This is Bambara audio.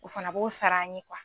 O fana b'o sara an ye